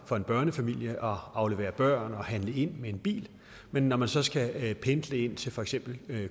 for en børnefamilie at aflevere børn og handle ind med en bil men når man så skal pendle ind til for eksempel